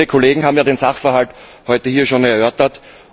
Viele Kollegen haben ja den Sachverhalt heute hier schon erörtert.